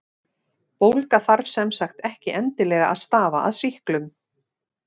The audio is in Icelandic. Bólga þarf sem sagt ekki endilega að stafa af sýklum.